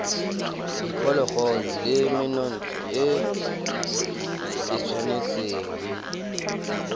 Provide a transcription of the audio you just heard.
diphologolo le menontsha e tshwanetse